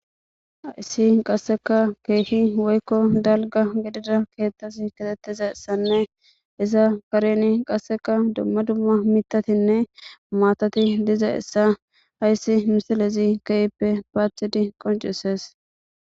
Ayssi qasseka keehi woykko dalga gedida keeththas ketettiza essanne iza kareni qasseka dumma dumma mitatinne maatati diza essa hayssi misilezi kehippe paachidi qoncisees.